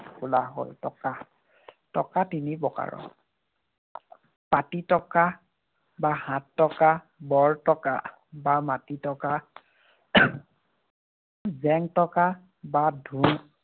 হ'ল টকা। টকা তিনি প্ৰকাৰৰ। পাটী টকা বা হাত টকা, বৰ টকা বা মাটি টকা, জেং টকা বা